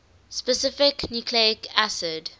specific nucleic acid